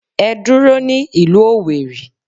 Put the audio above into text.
Ẹ dúró ní ìlú Owerri.